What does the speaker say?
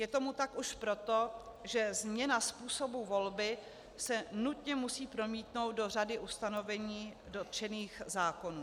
Je tomu tak už proto, že změna způsobu volby se nutně musí promítnout do řady ustanovení dotčených zákonů.